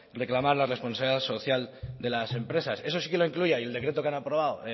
reclamar la responsabilidad social de las empresas eso sí que lo incluía y el decreto que han aprobado